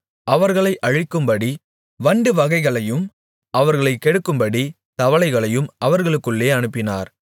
அவர்களை அழிக்கும்படி வண்டு வகைகளையும் அவர்களைக் கெடுக்கும்படி தவளைகளையும் அவர்களுக்குள்ளே அனுப்பினார்